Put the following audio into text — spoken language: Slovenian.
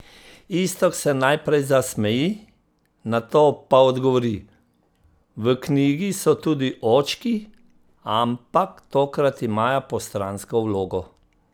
Iztok se najprej zasmeji, nato pa odgovori: "V knjigi so tudi očki, ampak tokrat imajo postransko vlogo.